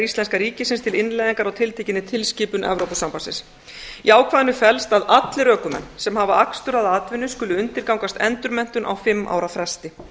íslenskra ríkisins til innleiðingar á tiltekinni tilskipun evrópusambandsins í ákvæðinu felst að allir ökumenn sem hafa akstur að atvinnu skulu undirgangast endurmenntun á fimm ára fresti